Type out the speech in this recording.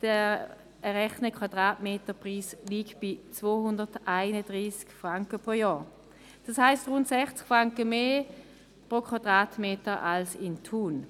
Der errechnete Quadratmeterpreis liegt bei 231 Franken pro Jahr, also rund 60 Franken mehr pro Quadratmeter als in Thun.